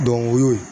o y'o ye